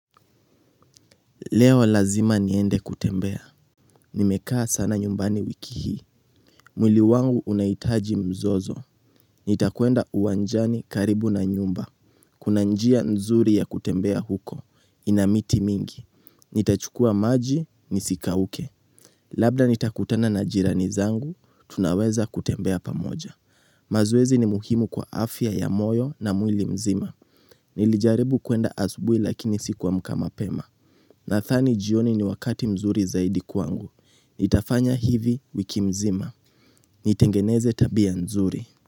Leo lazima niende kutembea. Nimekaa sana nyumbani wiki hii. Mwili wangu unahitaji mzozo. Nitakwenda uwanjani karibu na nyumba. Kuna njia nzuri ya kutembea huko. Ina miti mingi. Nitachukua maji, nisikauke. Labda nitakutana na jirani zangu, tunaweza kutembea pamoja. Mazoezi ni muhimu kwa afya ya moyo na mwili mzima. Nilijaribu kuenda asubui lakini sikuamka mapema. Nathani jioni ni wakati mzuri zaidi kwangu. Ntafanya hivi wiki mzima. Nitengeneze tabia nzuri.